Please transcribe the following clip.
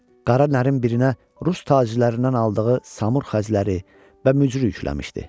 Qara narin birinə Rus tacirlərindən aldığı samur xəzləri və mücrü yükləmişdi.